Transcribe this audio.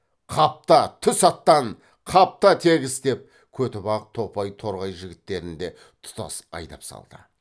қапта түс аттан қапта тегіс деп көтібақ топай торғай жігіттерін де тұтас айдап салды